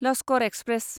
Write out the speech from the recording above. Lashkar express